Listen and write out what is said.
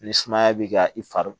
Ni sumaya b'i ka i fari